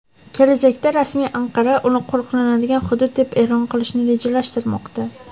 Kelajakda rasmiy Anqara uni qo‘riqlanadigan hudud deb e’lon qilishni rejalashtirmoqda.